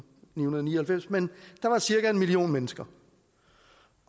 nioghalvfems men der var cirka en million mennesker